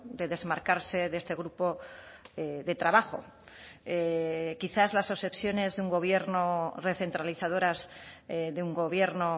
de desmarcarse de este grupo de trabajo quizás las obsesiones de un gobierno recentralizadoras de un gobierno